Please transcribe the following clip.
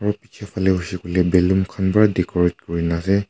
phale huishe koile balloon khan para decorate kuri na ase.